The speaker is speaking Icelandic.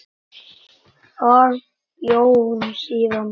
Þar bjó hún síðan.